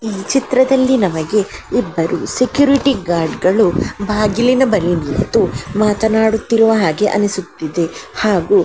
ಇಲ್ಲಿ ಚಿತ್ರದಲ್ಲಿ ನಮಗೆ ಇಬ್ಬರು ಸೆಕ್ಯೂರಿಟಿ ಗಾರ್ಡ್ಗಳು ಬಾಗಿಲಿನ ಬಳಿ ನಿಂತು ಮಾತನಾಡುತ್ತಿರುವ ಹಾಗೆ ಅನಿಸುತ್ತಿದೆ ಹಾಗು --